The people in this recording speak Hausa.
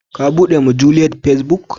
Kabude ma juliet facebook.